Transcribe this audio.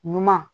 Ɲuman